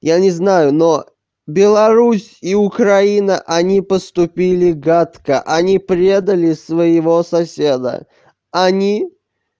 я не знаю но беларусь и украина они поступили гадко они предали своего соседа они